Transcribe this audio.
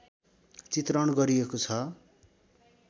चित्रण गरिएको छ